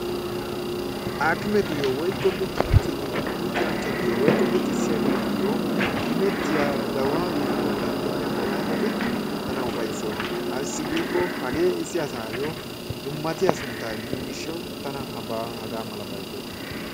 Aakimetuyyo woykko luxanchchatuyyo woykko luxissiyageetuyyo imettiya gawaaniya bollan de"iya malaatati tana ufayssoosona. Ayssi giikko hagee issi asaayyo dummatiya sunttaa immiyo gishshawu tana hagaa malabayi lo"es.